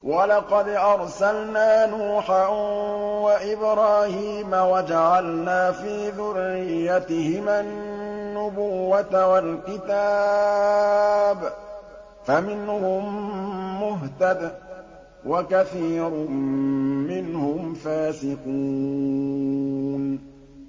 وَلَقَدْ أَرْسَلْنَا نُوحًا وَإِبْرَاهِيمَ وَجَعَلْنَا فِي ذُرِّيَّتِهِمَا النُّبُوَّةَ وَالْكِتَابَ ۖ فَمِنْهُم مُّهْتَدٍ ۖ وَكَثِيرٌ مِّنْهُمْ فَاسِقُونَ